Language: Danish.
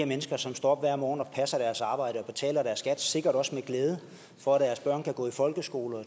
mennesker som står op hver morgen og passer deres arbejde og betaler deres skat sikkert også med glæde for at deres børn kan gå i folkeskole og